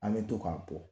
An bɛ to k'a bɔ